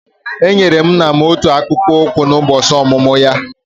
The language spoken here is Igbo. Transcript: Enyere m nna m otu akpụkpọ ụkwụ n'ụbọchị ọmụmụ ya.